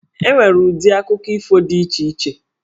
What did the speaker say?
E nwere ụdị akụkọ ifo dị iche iche.